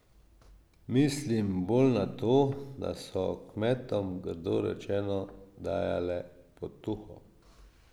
Mislim bolj na to, da so kmetom, grdo rečeno, dajale potuho.